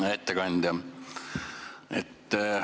Hea ettekandja!